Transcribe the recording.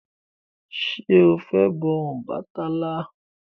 Ṣé o fẹ́ bọ Ọbàtálá?